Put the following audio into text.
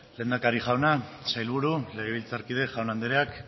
lehendakari jauna sailburu legebiltzarkide jaun andreak